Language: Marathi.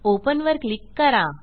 ओपन वर क्लिक करा